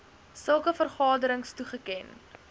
sulke vergaderings toegeken